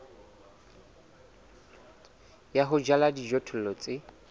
ya ho jala dijothollo tse